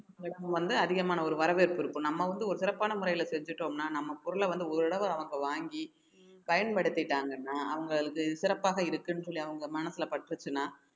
வந்து அதிகமான ஒரு வரவேற்பு இருக்கும் நம்ம வந்து ஒரு சிறப்பான முறையில செஞ்சுட்டோம்ன்னா நம்ம பொருளை வந்து ஓரளவு அவங்க வாங்கி பயன்படுத்திட்டாங்கன்னா அவங்களுக்கு சிறப்பாக இருக்குன்னு சொல்லி அவங்க மனசுல பட்டுச்சுன்னா